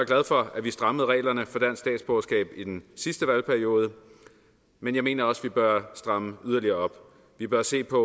glad for at vi strammede reglerne for dansk statsborgerskab i den sidste valgperiode men jeg mener også at vi bør stramme yderligere op vi bør se på